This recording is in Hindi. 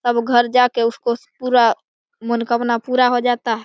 तब घर जाके उसको पूरा मनोकामना पूरा हो जाता है |